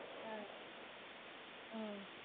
அஹ் உம்